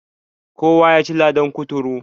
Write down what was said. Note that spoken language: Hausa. Kowa yaci ladan kuturu.